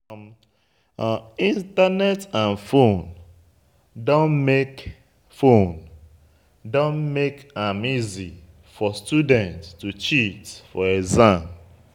Internet and phone don make phone don make am easy for student to cheat for exam